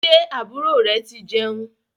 Ṣé àbúrò re ti jẹun?